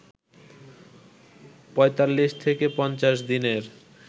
৪৫ থেকে ৫০ দিনের